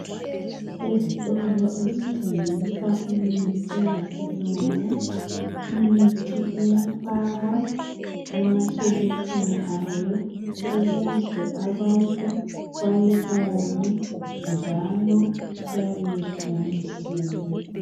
Ezitolo ezithengisa imithi yesilungu. Imithi iyafakwa emashelufini ayo ukuze abantu bayibone njalo iyabe yehlukanisiwe.